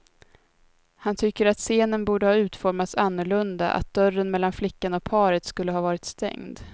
Han tycker att scenen borde ha utformats annorlunda, att dörren mellan flickan och paret skulle ha varit stängd.